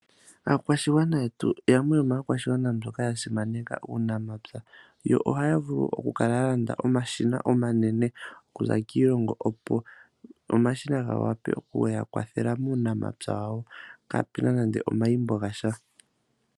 Aakwashigwana yetu yamwe yomaakwashigwana mbyoka ya simaneka uunamapya. Yo ohaya vulu oku kala ya landa omashina omanene opo omashina ga vule okuya kwathela muunamapya wawo kaapena nande omalimbililo ga sha.